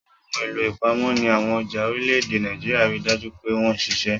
Àwọn ohun èlò ìpamọ́ ní àwọn ọjà orílẹ̀-èdè Nàìjíríà rí i dájú pé wọ́n ṣẹ̀ṣẹ̀